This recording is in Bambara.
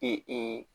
Ee ee